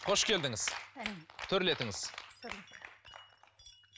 қош келдіңіз төрлетіңіз төрлеттік